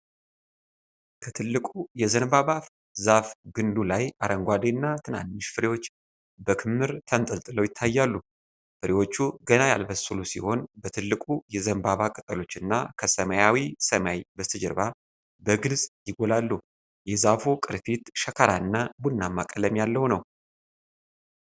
ከትልቁ የዘንባባ ዛፍ ግንዱ ላይ አረንጓዴ እና ትናንሽ ፍሬዎች በክምር ተንጠልጥለው ይታያሉ። ፍሬዎቹ ገና ያልበሰሉ ሲሆን፤ በትልቁ የዘንባባ ቅጠሎች እና ከሰማያዊ ሰማይ በስተጀርባ በግልጽ ይጎላሉ። የዛፉ ቅርፊት ሸካራና ቡናማ ቀለም ያለው ነው።